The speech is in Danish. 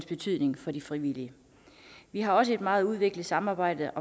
betydningen for de frivillige vi har også et meget udviklet samarbejde